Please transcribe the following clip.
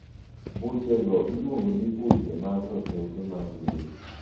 buche go ilungo ni buche mag roteke mag del